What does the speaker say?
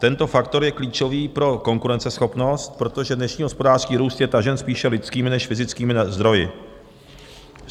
Tento faktor je klíčový pro konkurenceschopnost, protože dnešní hospodářský růst je tažen spíše lidskými než fyzickými zdroji.